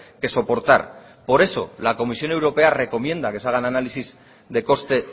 que soportar por eso la comisión europea recomienda que se hagan análisis de coste